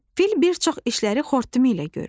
Fil bir çox işləri xortumu ilə görür.